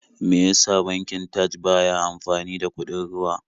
Me ya sa bankin Taj ba ya amfani da kuɗin ruwa?